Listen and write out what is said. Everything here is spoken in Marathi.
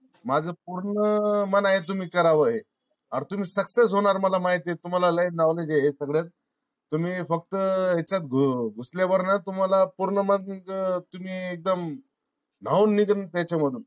माझ पूर्ण मन आहे तुम्ही कराव हे. आर तुम्ही success होणार मला माहिती ये. तुम्हाला लई नॉलेज हे सगळ तुम्ही फक्त हेच्यात घुसल्यावर ना तुम्हाला पूर्ण मग तुम्ही एकदम न्हाऊननिगन तेच्या मधून